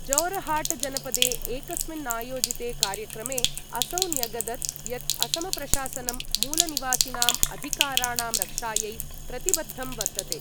जोरहाटजनपदे एकस्मिन्नायोजिते कार्यक्रमे असौ न्यगदत् यत् असमप्रशासनं मूलनिवासिनाम् अधिकाराणां रक्षायै प्रतिबद्धं वर्तते।